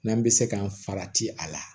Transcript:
N'an bɛ se kan farati a la